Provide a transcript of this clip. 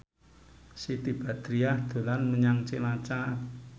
Siti Badriah dolan menyang Cilacap